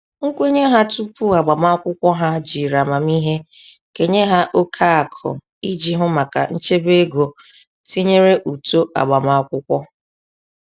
Nkwenye ha tupu agbamakwụkwọ ha jiri amamiihe kenye ha oke akụ iji hụ maka nchebe ego tinyere ụtọ agbamakwụkwọ.